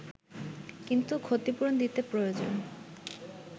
কিন্তু ক্ষতিপূরণ দিতে প্রয়োজন